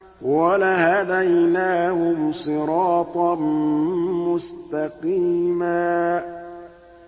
وَلَهَدَيْنَاهُمْ صِرَاطًا مُّسْتَقِيمًا